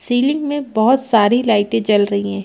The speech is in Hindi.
सीलिंग में बहोत सारी लाइटे जल रहीं है।